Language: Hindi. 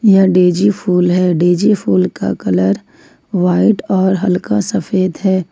यह डेजी फूल है डेजी फुल का कलर व्हाइट और हल्का सफेद है।